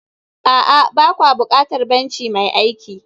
a'a, ba kwa buƙatar benci mai aiki